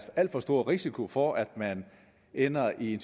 alt for stor risiko for at man ender i en